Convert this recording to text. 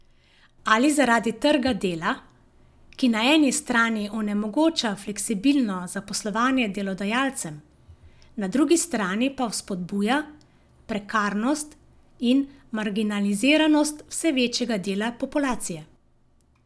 Ali zaradi trga dela, ki na eni strani onemogoča fleksibilno zaposlovanje delodajalcem, na drugi strani pa vzpodbuja prekarnost in marginaliziranost vse večjega dela populacije.